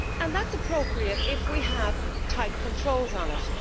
That is appropriate if we have tight controls on it.